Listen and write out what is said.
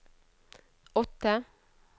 åtte